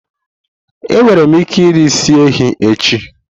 Enwere m ike iri isi ehi echi?